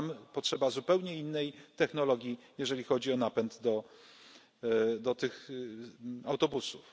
Tam potrzeba zupełnie innej technologii, jeżeli chodzi o napęd do tych autobusów.